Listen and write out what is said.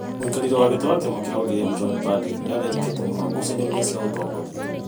Mũikarĩri gĩtĩ wa kĩama kĩa ODM John Mbadi nĩ athĩnĩkĩte mũno ngucanio-inĩ cia ũtongoria